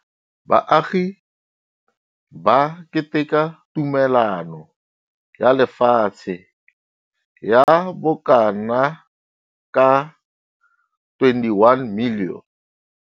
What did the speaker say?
Baagi ba keteka tumelano ya lefatshe ya bokanaka 21 milione.